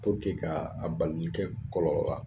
puruke ka a balinikɛ kɔlɔlɔ ra